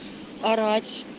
орать